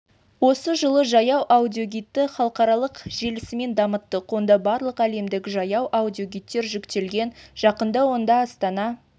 осы жылы жаяу аудиогидті халықаралық желісімен дамыттық онда барлық әлемдік жаяу аудиогидтер жүктелген жақында онда астана